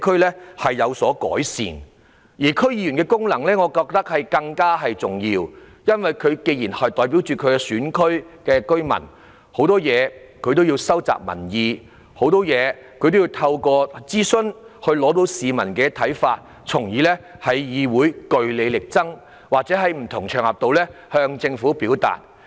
不過，我認為區議員的功能更重要，因為他們作為居民代表，有需要就很多事情收集民意，透過諮詢了解市民的看法，然後在區議會內據理力爭，或是在不同場合向政府表達。